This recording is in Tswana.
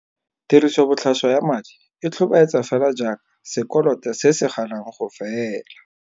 Tirisobotlhaswa ya madi e tlhobaetsa fela jaaka sekoloto se se ganang go fela.